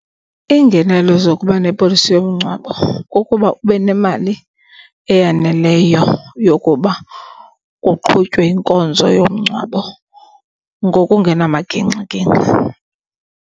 Iingenelo zokuba nepolisi yomngcwabo kukuba ube nemali eyaneleyo yokuba kuqhutywe inkonzo yomngcwabo ngokungenamagingxigingxi.